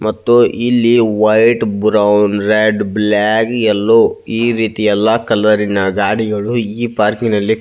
ಮತ್ತು ಇಲ್ಲಿ white brown red black yellow . ಈ ರೀತಿ ಎಲ್ಲ ಕಲರ ಇನ ಗಾಡಿಗಳು ಈ ಪಾರ್ಕಿ ನಲ್ಲಿ --